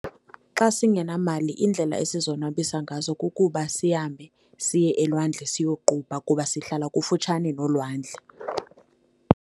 Xa singenamali iindlela esizonwabisa ngazo kukuba sihambe siye elwandle siyoqubha kuba sihlala kufutshane nolwandle.